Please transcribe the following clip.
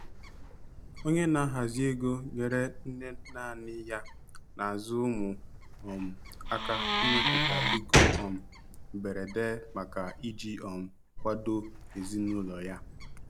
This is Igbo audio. Onye na-ahazi ego nyeere nne nanị ya na-azụ ụmụ um aka ịmepụta ego um mberede maka iji um kwado ezinụlọ ya.